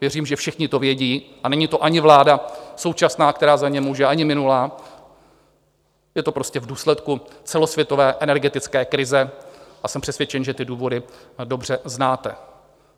Věřím, že všichni to vědí, a není to ani vláda současná, která za ně může, ani minulá, je to prostě v důsledku celosvětové energetické krize a jsem přesvědčen, že ty důvody dobře znáte.